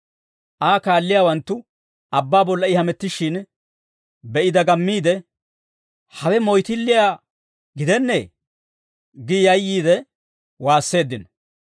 Aa kaalliyaawanttu abbaa bolla I hamettishshin be'i dagammiide, «Hawe moyttilliyaa gidennee!» gi yayyiide waasseeddino.